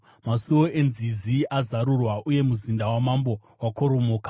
Masuo enzizi azarurwa uye muzinda wamambo wakoromoka.